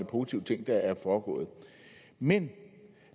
positive ting der er foregået men